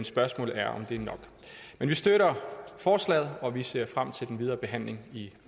spørgsmålet er om det er nok men vi støtter forslaget og vi ser frem til den videre behandling i